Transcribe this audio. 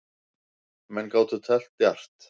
Menn gátu teflt djarft.